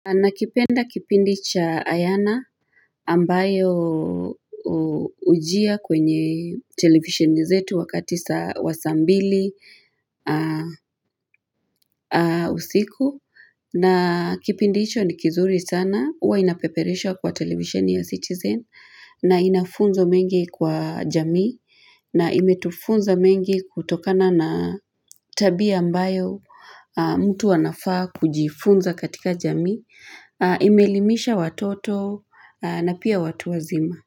Nakipenda kipindi cha Ayana ambayo ujia kwenye televisheni zetu wakati wa saa mbili usiku na kipindi icho ni kizuri sana uwa inapeperishwa kwa televisheni ya citizen na ina funzo mengi kwa jamii na imetufunza mengi kutokana na tabia ambayo mtu anafaa kujifunza katika jamii, imeelimisha watoto na pia watu wazima.